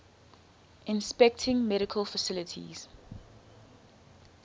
inspecting medical facilities